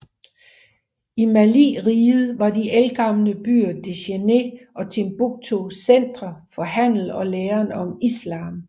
I Maliriget var de ældgamle byer Djenné og Timbuktu centre for handel og læren om islam